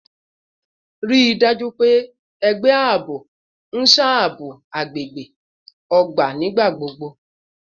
Rii daju pe ẹgbẹ aabo n ṣabọ agbegbe agbegbe ogba nigbagbogbo